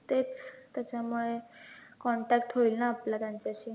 तेच त्याच्यामुळे contact होईल ना आपला त्यांच्याशी